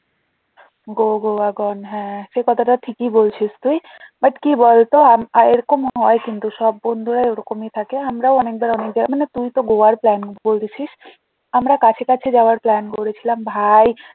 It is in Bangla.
Go গোয়া gone হ্যাঁ সে কথাটাও ঠিক ই বলছিস তুই but কি বলতো আম~ আহ এরকম হয় কিন্তু সব বন্ধুরা ওরকমই থাকে আমরাও অনেক জায়গা অনেক জায়গা মানে তুই তো গোয়ার plan বলেছিস আমরা কাছে কাছে যাওয়ার plan করেছিলাম ভাই